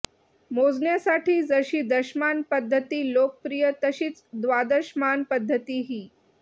मोजण्यासाठी जशी दशमान पध्दती लोकप्रिय तशीच द्वादशमान पध्दतीही